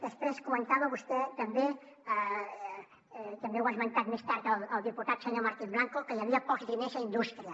després comentava vostè també també ho ha esmentat més tard el diputat senyor martín blanco que hi havia pocs diners a indústria